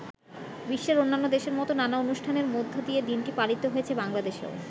বিশ্বের অন্যান্য দেশের মত নানা অনুষ্ঠানের মধ্যে দিয়ে দিনটি পালিত হয়েছে বাংলাদেশেও।